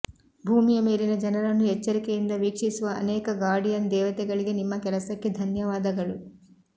ಭೂಮಿಯ ಮೇಲಿನ ಜನರನ್ನು ಎಚ್ಚರಿಕೆಯಿಂದ ವೀಕ್ಷಿಸುವ ಅನೇಕ ಗಾರ್ಡಿಯನ್ ದೇವತೆಗಳಿಗೆ ನಿಮ್ಮ ಕೆಲಸಕ್ಕೆ ಧನ್ಯವಾದಗಳು